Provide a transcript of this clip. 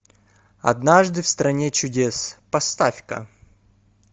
однажды в стране чудес поставь ка